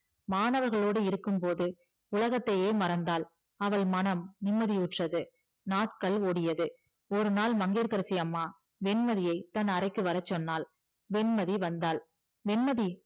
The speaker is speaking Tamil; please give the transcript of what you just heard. மாணவர்களோடு இருக்கும் போது உலகத்தையே மறந்தால் அவள் மனம் நிம்மதிவுட்றது நாட்கள் ஓடியது ஒரு நாள் மங்கையகரசி அம்மா வன்மைதியை தன் அறைக்குள் வர சொன்னால் வெண்மதி வந்தால் வெண்மதி